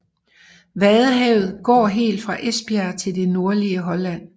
Vadehavet går helt fra Esbjerg til det nordlige Holland